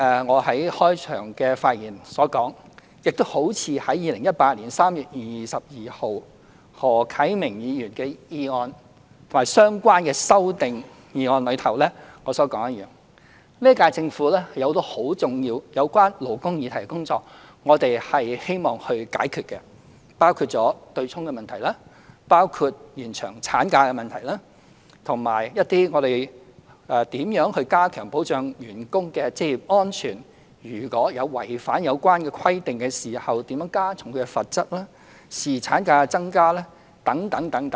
我在開場發言時表示，我在2018年3月22日回應何啟明議員提出的議案及相關修正案時曾指出，本屆政府有多項有關勞工議題的重要工作希望處理，包括取消強制性公積金對沖的問題、延長產假、為加強保障僱員的職業安全而檢討違反有關規定時如何加重罰則，以及增加侍產假等。